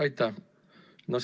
Aitäh!